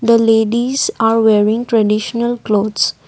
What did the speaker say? the ladies are wearing traditional clothes.